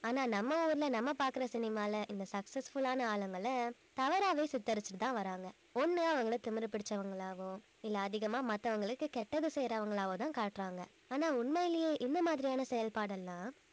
ஆனா நம்ம ஊரில நம்ம பாக்கற சினிமால இந்த successful ஆன ஆளுங்கள தவறாவே சித்தரிச்சுட்டுத்தான் வர்றாங்க ஒண்ணு அவங்கள திமிரு பிடிச்சவங்களாகவோ இல்ல அதிகமா மத்தவங்களுக்கு கெட்டது செய்யறவங்களாவோதான் காட்டறாங்க ஆனா உண்மையிலயே இந்த மாதிரியான செயல்பாடெல்லாம்